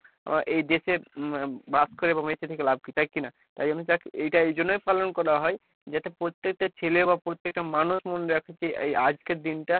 আহ এই দেশে বাস করে বা বেঁচে থেকে লাভ কী ? তাই কি না ? এই জন্য এইটা এই জন্য পালন করা হয়। যাতে প্রত্যেক টা ছেলে বা প্রত্যেক টা মানুষ সমন্ধে এই আজকের দিন টা